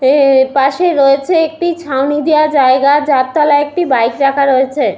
ওওও এ পাশে রয়েছে একটি ছাউনি দেওয়া জায়গা। যার তলা একটি বাইক রাখা রয়েছে ।